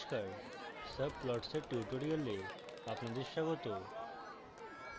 নমস্কার subplots এর tutorial আপনাদের স্বাগত